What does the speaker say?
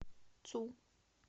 цу